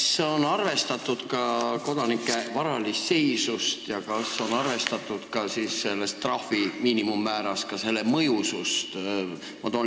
Kas on arvestatud ka kodanike varalist seisu ja miinimummääras trahvi mõjusust?